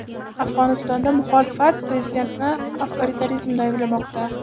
Afg‘onistonda muxolifat prezidentni avtoritarizmda ayblamoqda.